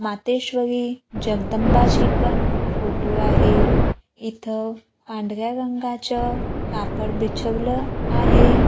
मातेश्वरी जगदंबाची पण फोटो आहे इथं पांढऱ्या रंगाचं कापडं बिछवल आहे.